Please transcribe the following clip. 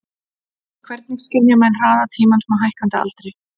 Hvernig skynja menn hraða tímans með hækkandi aldri?